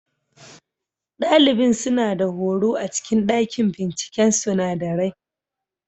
Ɗalibin suna da horo a cikin ɗakin binciken sunadarai.